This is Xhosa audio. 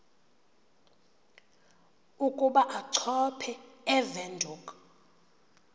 ukuba achophe ewindhoek